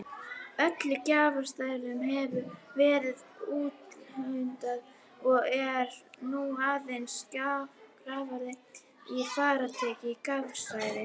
Öllum grafstæðum hefur verið úthlutað og er nú aðeins grafið í frátekin grafstæði.